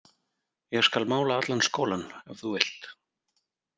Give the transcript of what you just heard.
Ég skal mála allan skólann ef þú vilt.